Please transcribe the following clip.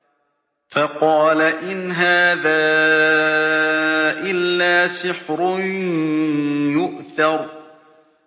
فَقَالَ إِنْ هَٰذَا إِلَّا سِحْرٌ يُؤْثَرُ